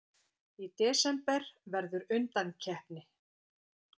Í desember verður undankeppni.